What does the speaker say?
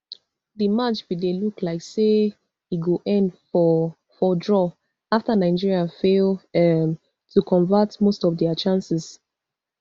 di match bin dey look like say e go end for for draw afta nigeria fail um to convert most of dia chances